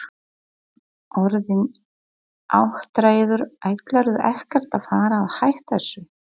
Jón: Orðinn áttræður, ætlarðu ekkert að fara að hætta þessu?